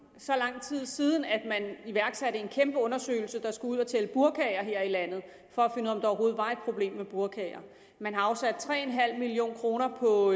så lang tid siden at man iværksatte en kæmpe undersøgelse man skulle ud at tælle burkaer her i landet for at overhovedet var et problem med burkaer man har afsat tre million kroner på